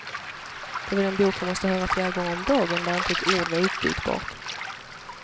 Det var den bok jag måste höra flera gånger om dagen, där inte ett ord var utbytbart.